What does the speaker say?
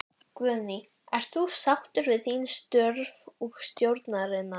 Guðný: Ert þú sáttur við þín störf og stjórnarinnar?